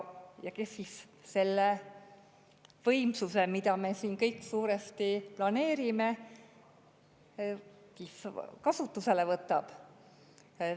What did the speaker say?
Kes siis selle võimsuse, mida me siin kõik suuresti planeerime, kasutusele võtab?